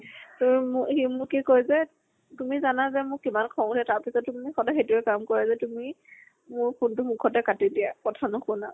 অম মু সি মোক কি কয় যে তুমি জানা যে মোৰ কিমান খং উঠে তাৰ পিছতো তুমি মোক সদায় সেইটোয়ে কাম কৰা যে তুমি। মোৰ phone টো মুখতে কাটি দিয়া, কথা নুশুনা।